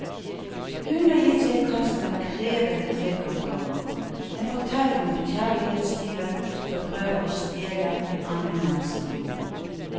Hun har gitt seg i kast med et krevende trekantdrama, en fortelling om kjærlighetstyven som prøver å stjele en annen manns liv.